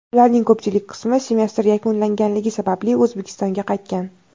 Ularning ko‘pchilik qismi semestr yakunlanganligi sababli O‘zbekistonga qaytgan.